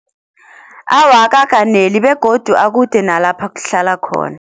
Awa akakaneli begodu akude nalapha kuhlala khona.